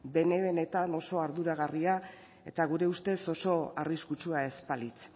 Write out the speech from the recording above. bene benetan oso arduragarria eta gure ustez oso arriskutsua ez balitz